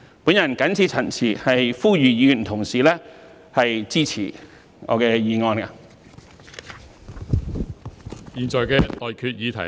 我謹此陳辭，呼籲議員同事支持我的議案。